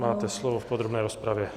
Máte slovo v podrobné rozpravě.